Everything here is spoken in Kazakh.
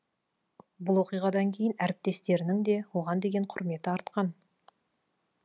бұл оқиғадан кейін әріптестерінің де оған деген құрметі артқан